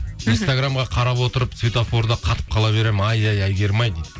инстаграмға қарап отырып светофорда қатып қала беремін ай ай әйгерім ай дейді